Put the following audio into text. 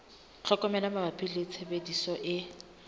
tlhokomelo mabapi le tshebediso e